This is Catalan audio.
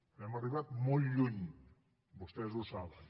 hem arribat molt lluny vostès ho saben